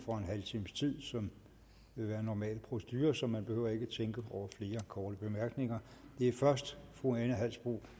for en halv times tid som vil være normal procedure så man behøver ikke at tænke over flere korte bemærkninger det er først fru ane halsboe